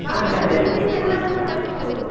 ಎಲ್ಲವನ್ನು ತರಿಸ್ಬಹುದು.